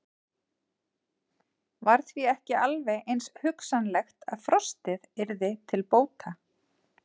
Var því ekki alveg eins hugsanlegt að frostið yrði til bóta?